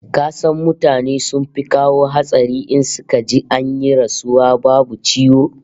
Ka san mutane sun fi kawo hatsari in suka ji an yi rasuwa babu ciwo?